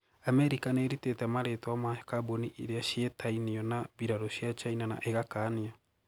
Amerika niiritite maritwa ma kabuni iria cietainio na biraru cia China na igakania